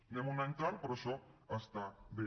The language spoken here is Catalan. anem un any tard però això està bé